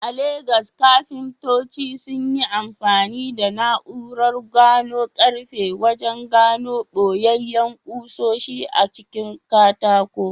A Legas, kafintoci sun yi amfani da na’urar gano karfe wajen gano boyayyen kusoshi a cikin katako.